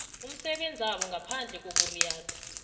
umsebenzabo ngaphandle kokuriyada